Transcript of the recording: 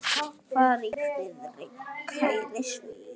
Far í friði, kæri Svenni.